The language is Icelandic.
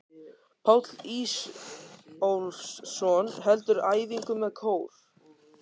Páll Ísólfsson heldur æfingu með kór.